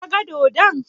Ka ga dodon?